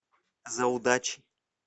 за удачей